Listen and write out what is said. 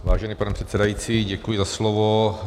Vážený pane předsedající, děkuji za slovo.